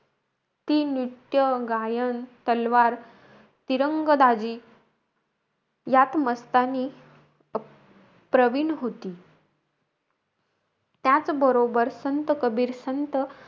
ती नृत्य, गायन, तलवार, तिरंगबाजी यात मस्तानी अं प्रवीण होती. त्याचं बरोबर संत कबीर, संत